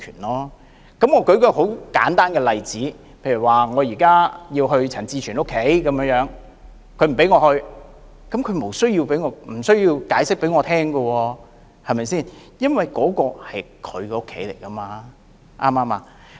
我舉一個很簡單的例子，例如我想去陳志全議員家裏，但他不讓我去，他無須向我解釋，因為那是他的家，對嗎？